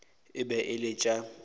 e be e le tša